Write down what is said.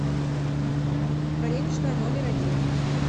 вареничная номер один